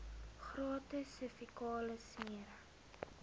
gratis servikale smere